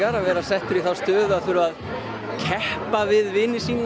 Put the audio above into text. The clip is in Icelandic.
að vera settur í þá stöðu að keppa við vini sína